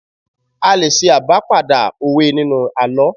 A lè ṣe abá padà òwe nínú àlọ́